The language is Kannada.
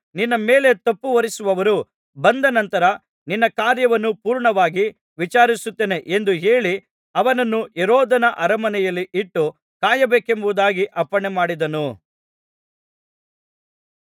ನಿನ್ನ ಮೇಲೆ ತಪ್ಪು ಹೊರಿಸುವವರು ಬಂದ ನಂತರ ನಿನ್ನ ಕಾರ್ಯವನ್ನು ಪೂರ್ಣವಾಗಿ ವಿಚಾರಿಸುತ್ತೇನೆ ಎಂದು ಹೇಳಿ ಅವನನ್ನು ಹೆರೋದನ ಅರಮನೆಯಲ್ಲಿ ಇಟ್ಟು ಕಾಯಬೇಕೆಂಬುದಾಗಿ ಅಪ್ಪಣೆಮಾಡಿದನು